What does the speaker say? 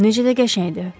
Necə də qəşəngdir!